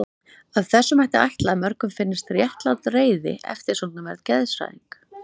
Af þessu mætti ætla að mörgum finnist réttlát reiði eftirsóknarverð geðshræring.